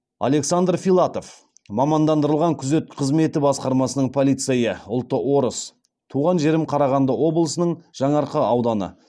александр филатов мамандандырылған күзет қызметі басқармасының полицейі ұлты орыс туған жерім қарағанды облысының жаңаарқа ауданы